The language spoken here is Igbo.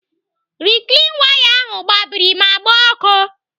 Riklin waya ahụ gbabiri ma gbaa ọkụ.